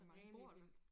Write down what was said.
Hvor mange bor der?